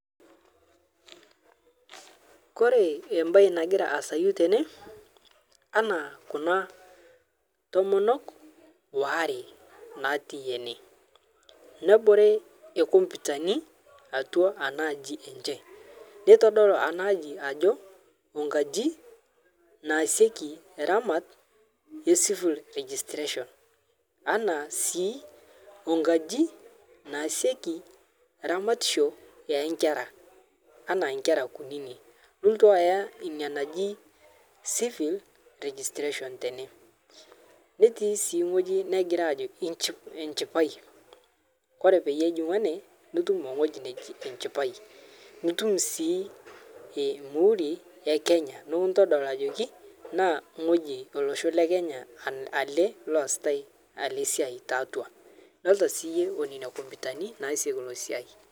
Kore ebaye nagira asayu tene ana kuna tomonok oare natii ene nebore komputani atwa ana aji enche, neitodolu ana aji ajo onkaji naaseki ramat e civil registration ana sii onkaji naaseki ramatisho onkera ana nkera kunini pulotu aya inia naji civil registration tene. Neti sii ng'oji negira ajo ench echipae kore paye ijing'u ene nitum ng'oji nejii enchipai nitum sii muhuri e Kenya nikintodol ajoki naa ng'oji elosho lekenya ale loasitae ale siai tetwa idolita siiye onena komputani naasieki ilo siai.